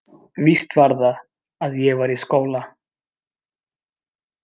Víst var það, að ég var í skóla.